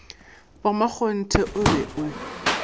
ba makgonthe o be o